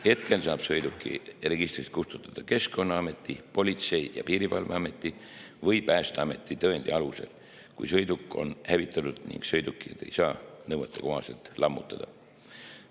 Hetkel saab sõiduki registrist kustutada Keskkonnaameti, Politsei‑ ja Piirivalveameti või Päästeameti tõendi alusel, kui sõiduk on hävitatud ning sõidukit ei saa nõuetekohaselt lammutada.